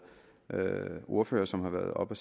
ordførere som har været oppe